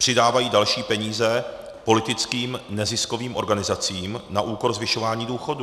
Přidávají další peníze politickým neziskovým organizacím na úkor zvyšování důchodů.